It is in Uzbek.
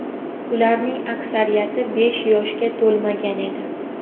Ularning aksariyati besh yoshga to‘lmagan edi.